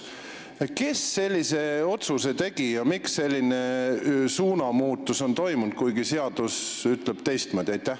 Kes sellise otsuse tegi ja miks on toimunud selline suunamuutus, kui seadus ütleb teistmoodi?